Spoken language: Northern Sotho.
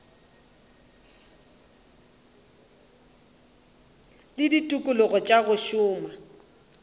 le ditikologo tša go šoma